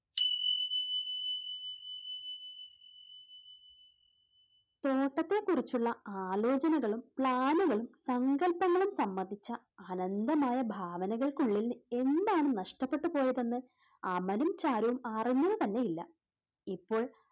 തോട്ടത്തെ കുറിച്ചുള്ള ആലോചനകളും plan കളും സങ്കൽപ്പങ്ങളും സംബന്ധിച്ച അനന്തമായ ഭാവനകൾക്കുള്ളിൽ എന്താണ് നഷ്ടപ്പെട്ടു പോയതെന്ന് അമലും ചാരുവും അറിഞ്ഞത് തന്നെ ഇല്ല. ഇപ്പോൾ,